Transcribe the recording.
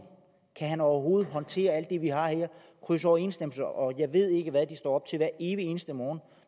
kan han overhovedet håndtere alt det vi har her krydsoverensstemmelser og jeg ved ikke hvad de står op til hver evig eneste morgen